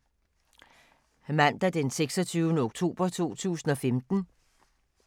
Mandag d. 26. oktober 2015